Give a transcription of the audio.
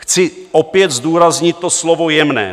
Chci opět zdůraznit to slovo "jemné".